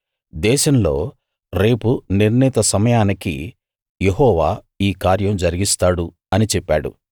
దేశంలో రేపు నిర్ణీత సమయానికి యెహోవా ఈ కార్యం జరిగిస్తాడు అని చెప్పాడు